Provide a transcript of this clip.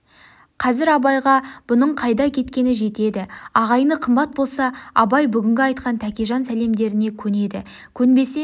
қазір абайға бұның қайда кеткені жетеді ағайыны қымбат болса абай бүгінгі айтқан тәкежан сәлемдеріне көнеді көнбесе